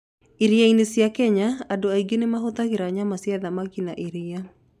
Iria-inĩ cia Kenya, andũ aingĩ nĩ mahũthagĩra nyama cia thamaki na iria.